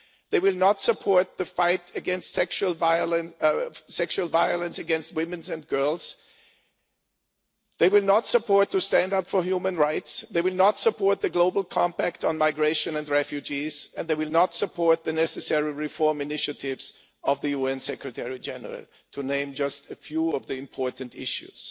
They will not support the fight against sexual violence against women and girls, they will not support standing up for human rights, they will not support the global compact on migration and refugees, and they will not support the necessary reform initiatives of the UN Secretary-General, to name just a few of the important issues.